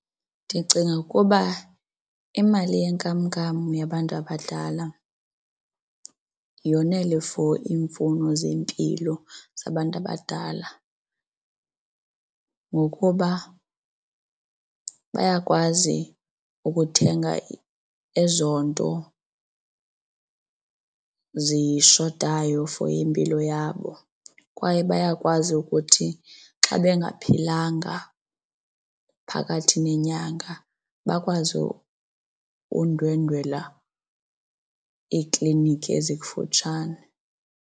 Ndicinga ukuba imali yenkamnkam yabantu abadlala yonele for iimfuno zempilo zabantu abadala ngokuba bayakwazi ukuthenga ezo nto zishotayo for impilo yabo, kwaye bayakwazi ukuthi xa bengaphilanga phakathi nenyanga bakwazi undwendwela iikliniki ezikufutshane.